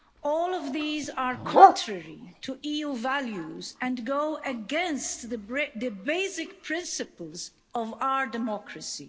All of these are contrary to EU values and go against the basic principles of our democracy.